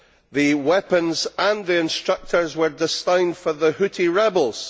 The weapons and the instructors were destined for the Houthi rebels.